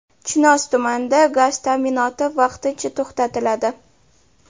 Chinoz tumanida gaz ta’minoti vaqtincha to‘xtatiladi.